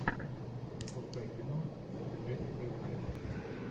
запускай кино с джессикой альба